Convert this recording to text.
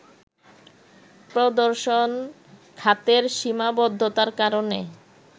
প্রদর্শন খাতের সীমাবদ্ধতার কারণে